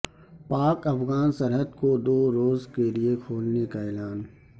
پاک افغان سرحد کو دو روز کے لیے کھولنے کا اعلان